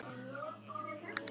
Það var honum lagið.